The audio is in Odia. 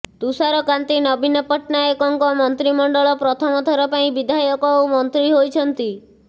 ତୁଷାରକାନ୍ତି ନବୀନ ପଟ୍ଟନାୟକଙ୍କ ମନ୍ତ୍ରୀମଣ୍ଡଳ ପ୍ରଥମ ଥର ପାଇଁ ବିଧାୟକ ଓ ମନ୍ତ୍ରୀ ହୋଇଛନ୍ତି